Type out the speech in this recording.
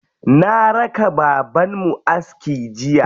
Na raka babanmu aski jiya.